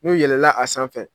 N'u yɛlɛla a sanfɛ